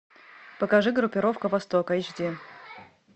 покажи группировка востока эйч ди